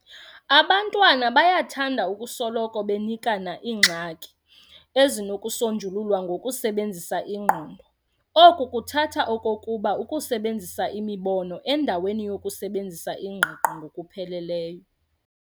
abantwana bayathanda ukusoloko benikana iingxaki ezinokusonjululwa "ngokusebenzisa ingqondo". oku kuthatha okokuba ukusebenzisa imibono endaweni yokusebenzisa ingqiqo ngokupheleleyo.